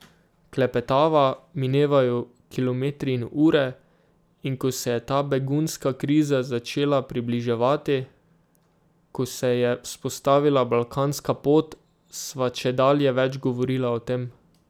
Klepetava, minevajo kilometri in ure, in ko se je ta begunska kriza začela približevati, ko se je vzpostavila balkanska pot, sva čedalje več govorila o tem.